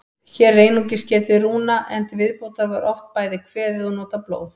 Hér er einungis getið rúna, en til viðbótar var oft bæði kveðið og notað blóð.